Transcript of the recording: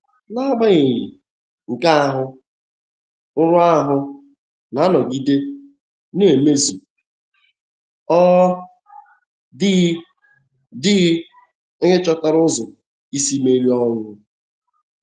N'agbanyeghị nke ahụ, nrọ ahụ na-anọgide na-emezughị — ọ dịghị dịghị onye chọtara ụzọ isi merie ọnwụ.